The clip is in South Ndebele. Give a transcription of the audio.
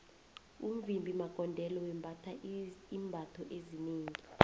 umvimbi magondelo wembatha iimbatho ezinengi